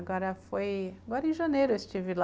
Agora foi, agora em janeiro eu estive lá.